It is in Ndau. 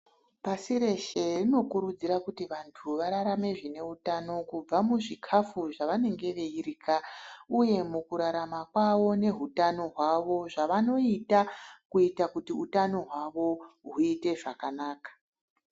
Pashi reshe rinokurudzira kuti vantu vararame zvine utano kubva muzvikafu zvavanenge veirya, uye mukurarama kwavo nehutano hwavo zvavanoita kuita kuti utano hwavo huite zvakanaka.